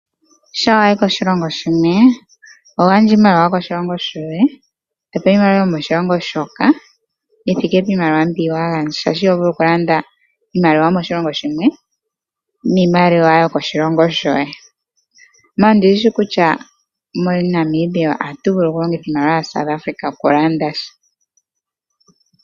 Shampa wa yi koshilongo shilwe, oho gandja iimaliwa yomoshilongo shoye to pewa iimaliwa yomoshilongo shoka yi thike piimaliwa mboka wa gandja. Iho vulu okulanda niimaliwa yokoshilongo shoye, iha ondi shi shi kutya moNAmibia ohatu vulu okulongitha iimaliwa yaSouth Afrika okulanda sha.